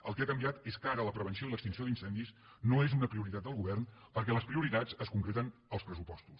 el que ha canviat és que ara la prevenció i l’extinció d’incendis no és una prioritat del govern perquè les prioritats es concreten als pressupostos